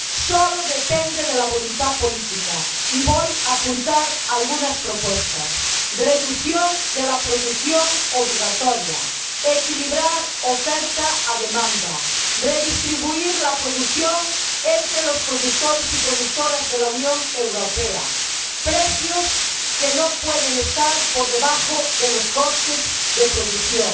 Solo depende de la voluntad política, y voy a apuntar algunas propuestas reducción de la producción obligatoria, equilibrar oferta y demanda, redistribuir la producción entre los productores y productoras de la Unión Europea, precios que no pueden estar por debajo de los costes de producción,